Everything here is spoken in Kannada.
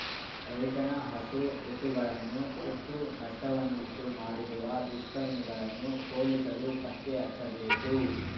ರೈತನ ಹಸು ಎತ್ತುಗಳನ್ನು ಸುಟ್ಟು ನಷ್ಟವನ್ನುಂಟು ಮಾಡಿರುವ ದುಷ್ಕರ್ಮಿಗಳನ್ನು ಪೊಲೀಸರು ಪತ್ತೆ ಹಚ್ಚಬೇಕು